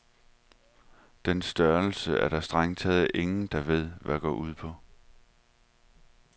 Den størrelse er der strengt taget ingen, der ved, hvad går ud på.